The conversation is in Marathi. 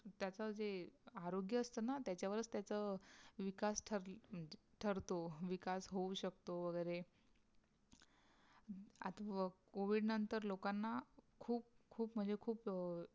विकास जे अरोगीय असते न तियाचा वर तिचाया विकास तघी तर्ठो विकास होऊ सक्तो वगेरे लोकोना खूब मह्चे खूब